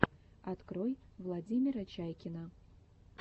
открой владимира чайкина